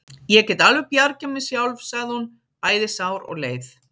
Ég get alveg bjargað mér sjálf, sagði hún, bæði sár og leið.